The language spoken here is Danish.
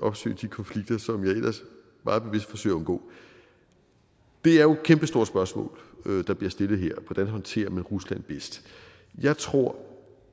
opsøge de konflikter som jeg ellers meget bevidst forsøger at undgå det er jo et kæmpestort spørgsmål der bliver stillet her hvordan håndterer man rusland bedst jeg tror